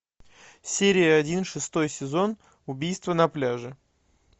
серия один шестой сезон убийство на пляже